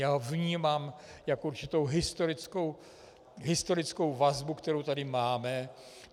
Já ho vnímám jako určitou historickou vazbu, kterou tady máme.